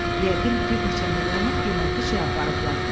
Yəqin bir neçə milyonluq qiymətli şey aparıblar.